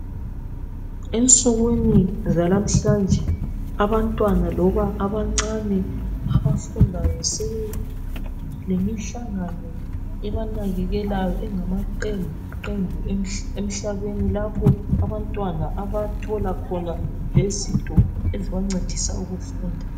Ensukwini zalamhlanje, abantwana loba abancane abafundayo sebelemihlangano ebanakekelayo engamaqembuqembu emhlabeni lapho abathola khona lezinto ezibancedisa ukufunda.